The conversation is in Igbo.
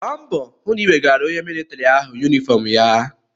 Gba mbọ hụ na ị wegaara onye militrị ahụ yunifọm ya!